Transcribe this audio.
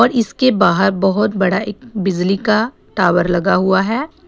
और इसके बाहर बहुत बड़ा एक बिजली का टावर लगा हुआ है।